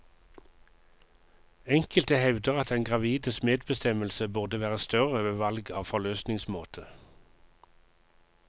Enkelte hevder at den gravides medbestemmelse burde være større ved valg av forløsningsmåte.